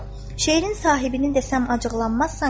"Şeirin sahibini desəm acıqlanmazsan ki?"